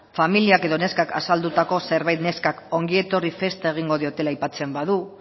familiak edo neskak azaldutako zerbait neskak ongietorri festa egingo diotela aipatzen badu